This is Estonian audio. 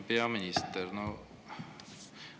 Hea peaminister!